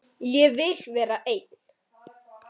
Ég vil vera einn.